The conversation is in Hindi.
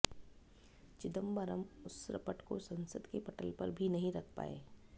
चिदंबरम उस रपट को संसद के पटल पर भी नहीं रख पाए